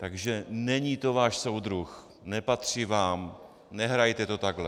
Takže není to váš soudruh, nepatří vám, nehrajte to takhle.